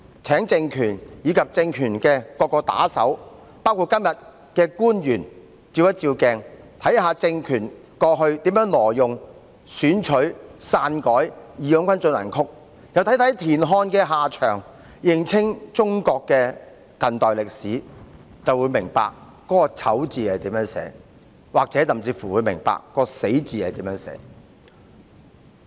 請政權和政權的各個打手，包括今天的官員照照鏡子，看看政權過去如何挪用、選取、篡改"義勇軍進行曲"，又看看田漢的下場，認清中國的近代歷史，便會明白"醜"字怎樣寫，明白"死"字怎樣寫。